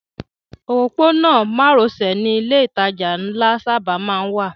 Òpópónà márosẹ̀ ni ilé ìtajà ńlá sábà má ń wà